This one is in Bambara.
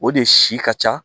O de si ka ca